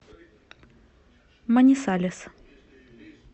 манисалес